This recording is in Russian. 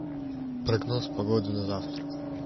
прогноз погоды на завтра